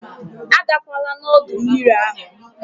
Agakwala n'ọdọ mmiri ahụ!